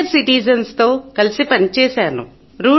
senior citizens తో కలిసి పని చేశాను